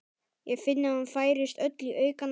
Ég finn að hún færist öll í aukana.